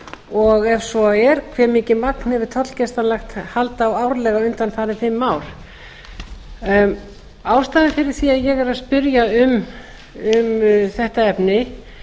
og ef svo er hve mikið magn hefur tollgæslan lagt hald á árlega undanfarin fimm ár ástæðan fyrir því að ég er að spyrja um þetta efni